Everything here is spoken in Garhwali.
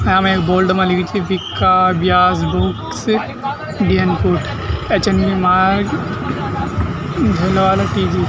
यामा एक बोर्ड मा लिख्युं च विक्का व्यास बूक्स गेनकूठ एच.एन.बी. मार्ग धोलावाला टी.जी. ।